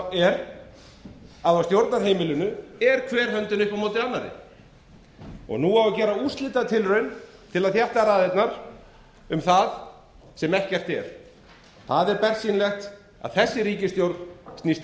að á stjórnarheimilinu er hver höndin upp á móti annarri nú á að gera úrslitatilraun til að þétta raðirnar um það sem ekkert er það er bersýnilegt að þessi ríkisstjórn snýst